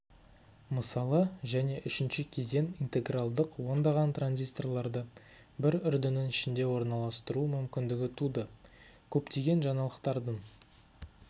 мысалы және үшінші кезең интегралдық ондаған транзисторларды бір үрдінің ішінде орналастыру мүмкіндігі туды көптеген жаңалықтардың